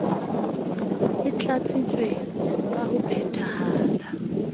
e tlatsitswe ka ho phetahala